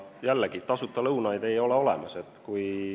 Jällegi, tasuta lõunaid ei ole olemas.